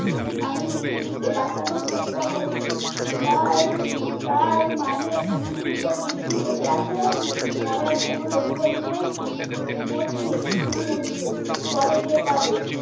আমি পৃথিবীকে বাঁচানোর চেষ্টা করছি তার তার মানে পৃথিবীতে দিব্যি বেঁচে আছে মরার কোন লক্ষই নেই মরছে পৃথিবীর মরছে পরে টের পাবে